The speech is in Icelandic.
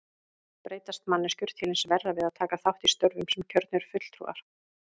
Breytast manneskjur til hins verra við að taka þátt í störfum sem kjörnir fulltrúar?